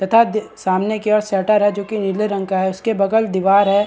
तथा दी सामने की ओर शटर हैं जो की नीले रंग का है उसके बगल दीवार है।